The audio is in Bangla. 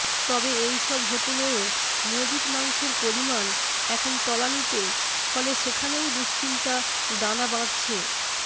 তবে এই সব হোটেলও মজুত মাংসের পরিমাণ এখন তলানিতে ফলে সেখানেও দুশ্চিন্তা দানা বাঁধছে